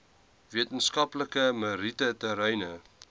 wetenskaplike meriete terreine